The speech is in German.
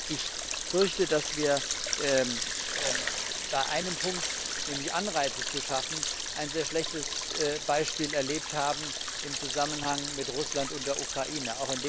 Ich fürchte, dass wir bei einem Punkt nämlich, Anreize zu schaffen ein sehr schlechtes Beispiel erlebt haben in Zusammenhang mit Russland und der Ukraine.